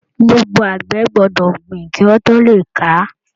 Gbogbo àgbẹ̀ gbọ́dọ̀ gbìn kí wọ́n tó le ká.